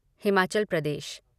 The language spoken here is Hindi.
हिमाचल प्रदेश